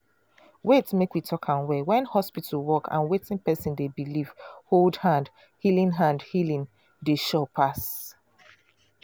wait make we talk am well when hospital work and wetin person dey believe hold hand healing hand healing dey sure pass.